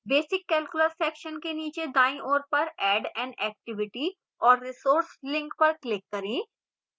basic calculus section के नीचे दाईं ओर पर add an activity or resource link पर click करें